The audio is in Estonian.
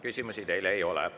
Küsimusi teile ei ole.